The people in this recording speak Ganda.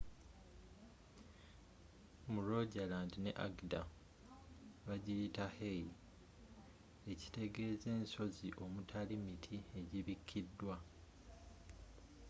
mu rogaland ne agder bagiyita hei” ekitegezza ensozi omutali miti egibikidwa